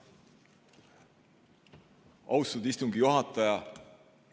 Austatud istungi juhataja!